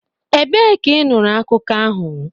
Ebee ka ị nụrụ akụkọ ahụ?